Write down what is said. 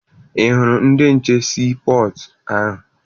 Ị hụrụ ndị nche sii pọtụ ahụ?